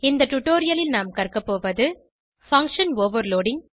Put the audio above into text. இந்த டுடோரியலில் நாம் கற்கபோவது பங்ஷன் ஓவர்லோடிங்